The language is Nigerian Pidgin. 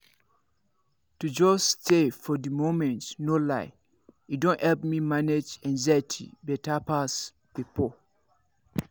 you know na as i dey present when i dey chop e don make me truly enjoy food well.